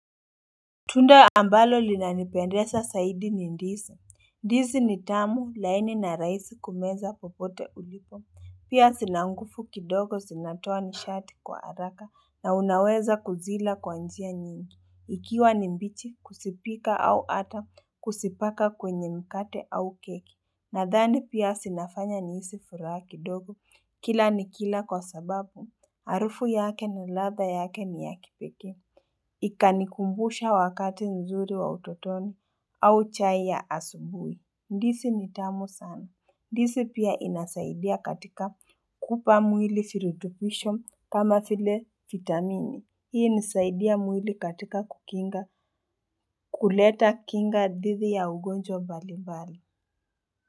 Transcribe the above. Tunda ambalo linanipendeza zaidi ni Ndizi Ndizi ni tamu laini na rahisi kumeza popote ulipo Pia zina nguvu kidogo zinatoa nishati kwa haraka na unaweza kuzila kwa njia nyingi Ikiwa ni mbichi kuzipika au hata kuzipaka kwenye mkate au keki Nadhani pia zinafanya nihisi furaha kidogo Kila nikila kwa sababu Harufu yake na ladha yake ni ya kipekee Ikanikumbusha wakati nzuri wa utotoni au chai ya asubuhi. Ndizi ni tamu sana. Ndizi pia inasaidia katika kupa mwili virutubisho kama vile vitamini. Hii inasaidia mwili katika kukinga kuleta kinga dhidi ya ugonjwa mbalimbali.